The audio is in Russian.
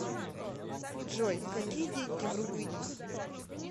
джой какие деньги в румынии